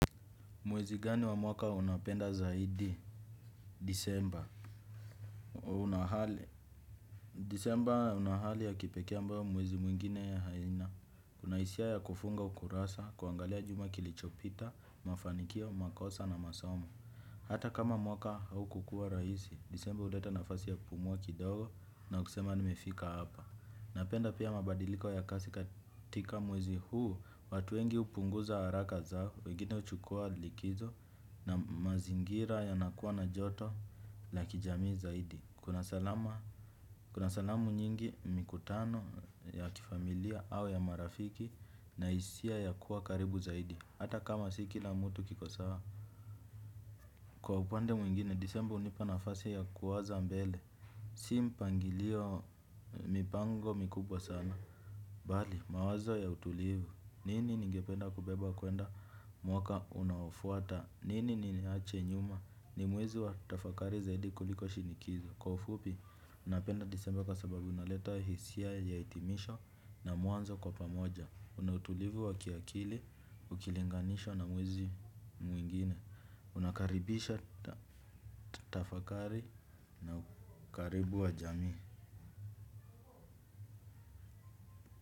Mwezi gani wa mwaka unapenda zaidi? Disemba. Huna hali. Disemba huna hali ya kipekee ambao mwezi mwingine aina. Kuna hisia ya kufunga ukurasa, kuangalia juma kilichopita, mafanikio, makosa na masomo. Hata kama mwaka haukukuwa rahisi, disemba huleta nafasi ya kupumua kidogo na kusema nimefika hapa. Napenda pia mabadiliko ya kasi katika mwezi huu, watu wengi hupunguza haraka zao, wengine huchukua likizo na mazingira yanakuwa na joto la kijamii zaidi. Kuna salama, kuna salamu nyingi mikutano ya kifamilia au ya marafiki na hisia ya kuwa karibu zaidi, hata kama si kila mtu kiko sawa. Kwa upande mwingine, disemba hunipa nafasi ya kuwaza mbele, si mpangilio mipango mikubwa sana. Mawazo ya utulivu, nini ningependa kubeba kwenda mwaka unaofuata, nini niache nyuma ni mwezi wa tafakari zaidi kuliko shinikizo. Kwa ufupi, napenda disemba kwa sababu inaleta hisia ya hitimisho na mwanzo kwa pamoja. Huna utulivu wa kiakili, ukilinganishwa na mwezi mwingine. Unakaribisha tafakari na ukaribu wa jamii.